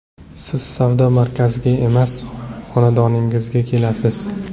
Siz savdo markaziga emas, xonadoningizga kelasiz.